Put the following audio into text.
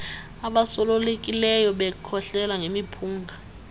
abosulelekileyo bekhohlela ngemiphunga